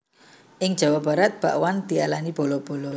Ing Jawa Barat bakwan diarani bala bala